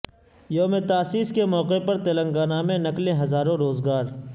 یوم تاسیس کے موقع پر تلنگانہ میں نکلیں ہزاروں روزگار